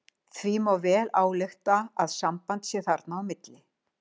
Því má vel álykta að samband sé þarna á milli.